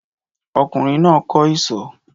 Ọkùnrin náà kọ́ isọ̀